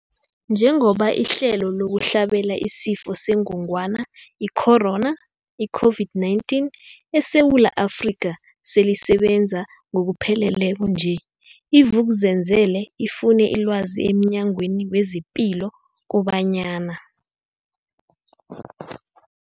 Njengoba ihlelo lokuhlabela isiFo sengogwana i-Corona, i-COVID-19, eSewula Afrika selisebenza ngokupheleleko nje, i-Vuk'uzenzele ifune ilwazi emNyangweni wezePilo kobanyana.